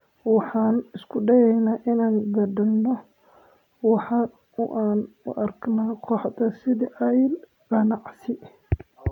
Waxaan isku dayeynaa inaan beddelno waaxda oo aan u aragno kooxaha sidii il ganacsi.